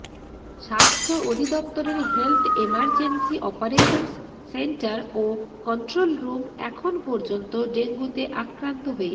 স্বাস্থ্য অধিদপ্তরের health emergency operations centre ও কন্ট্রোল রুম এখন পর্যন্ত ডেঙ্গুতে আক্রান্ত হয়ে